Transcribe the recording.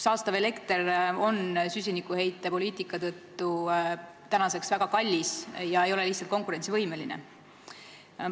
Saastav elekter on süsinikuheitmepoliitika tõttu tänaseks väga kallis ega ole lihtsalt konkurentsivõimeline.